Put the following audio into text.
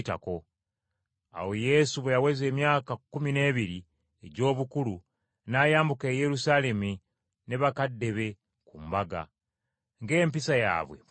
Awo Yesu bwe yaweza emyaka kkumi n’ebiri egy’obukulu n’ayambuka e Yerusaalemi ne bakadde be ku mbaga, nga empisa yaabwe bwe yali.